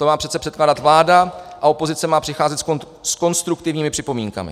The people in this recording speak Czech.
To má přece předkládat vláda a opozice má přicházet s konstruktivními připomínkami.